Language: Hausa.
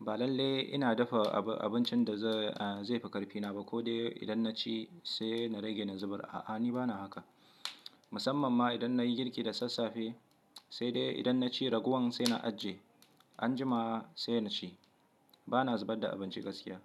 ba lalle ina dafa abincin da zai fikarfi na ba ko dai idan naci sai na rage na zubar. A'a, ni bana haka. Musamman ma idan nayi girki da sassafe, sai dai idan naci raguwan sai na ajje, anjima sai na ci. Bana zubar da abinci gaskiya.